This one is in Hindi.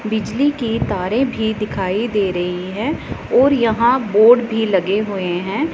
बिजली के तारें भी दिखाई दे रही हैं और यहां बोर्ड भी लगे हुए हैं।